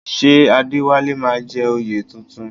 Ṣé Adéwálé máa jẹ oyè tuntun?